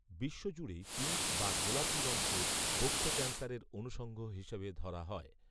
বিশ্বজুড়েই pink বা গোলাপি রঙকে বক্ষ ক্যানসারের অনুষঙ্গ হিসাবে ধরা হয়